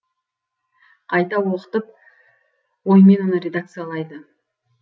қайта оқытып оймен оны редакциялайды